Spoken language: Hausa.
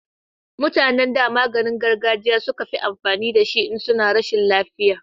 mutanen da maganin gargajiya suke amfani da shi in suna rashin lafiya